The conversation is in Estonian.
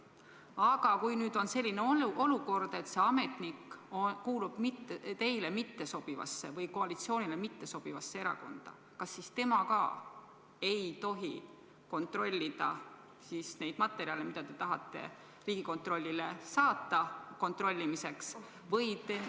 Aga kui nüüd on selline olukord, et mõni ametnik kuulub teile mittesobivasse või koalitsioonile mittesobivasse erakonda, kas siis tema ka ei tohi kontrollida neid materjale, mida te tahate Riigikontrollile saata kontrollimiseks?